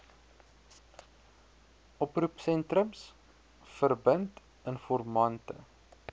oproepsentrums verbind informante